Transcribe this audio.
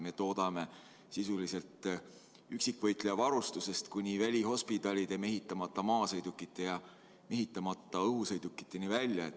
Me toodame sisuliselt üksikvõitleja varustusest kuni välihospidalide, mehitamata maasõidukite ja mehitamata õhusõidukiteni välja.